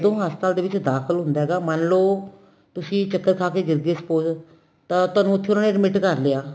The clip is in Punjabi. ਹਸਪਤਾਲ ਦੇ ਵਿੱਚ ਦਾਖਲ ਹੁੰਦਾ ਹੈਗਾ ਮੰਨਲੋ ਤੁਸੀਂ ਚੱਕਰ ਖਾ ਕੇ ਗਿਰਗੇ spoke ਤਾਂ ਤੁਹਾਨੂੰ ਉੱਥੇ ਉਹਨਾ ਨੇ admit ਕਰ ਲਿਆ